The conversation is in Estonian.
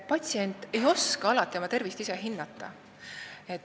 Patsient ei oska alati oma tervist ise hinnata.